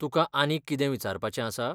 तुकां आनीक कितें विचारपाचें आसा?